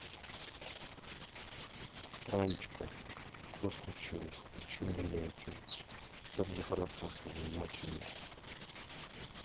танечка что случилось почему не о чем также хорошо с тобой начали